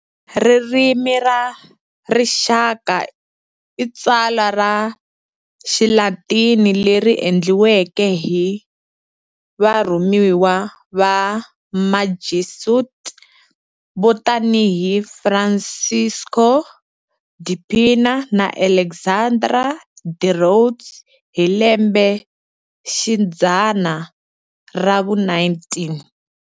Ririmi ra Rixaka i tsalwa ra Xilatini leri endliweke hi varhumiwa va Majesuit vo tanihi Francisco de Pina na Alexandre de Rhodes hi lembexidzana ra vu-19.